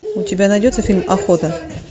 у тебя найдется фильм охота